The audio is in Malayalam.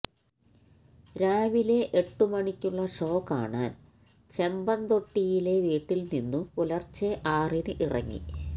രാവിലെ എട്ടു മണിക്കുള്ള ഷോ കാണാൻ ചെമ്പന്തൊട്ടിയിലെ വീട്ടിൽ നിന്നു പുലർച്ചെ ആറിന് ഇറങ്ങി